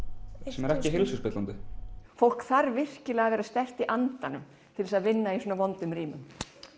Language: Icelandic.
sem er ekki heilsuspillandi fólk þarf að vera sterkt í andanum til að vinna í svona vondum rýmum